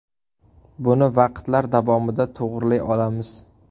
Buni vaqtlar davomida to‘g‘rilay olamiz.